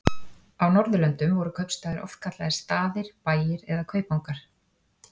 Á Norðurlöndum voru kaupstaðir oft kallaðir staðir, bæir eða kaupangar.